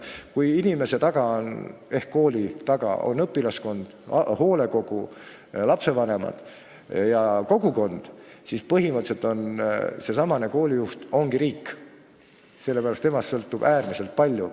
Kui inimese taga ehk koolijuhi taga on õpilaskond, hoolekogu, lapsevanemad ja kogukond, siis põhimõtteliselt seesama koolijuht ongi riik, sest temast sõltub äärmiselt palju.